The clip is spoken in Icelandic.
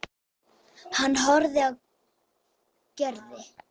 Hann horfði á Gerði.